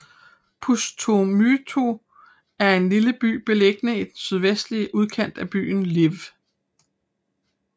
Pustomyty er en lille by beliggende i den sydvestlige udkant af byen Lviv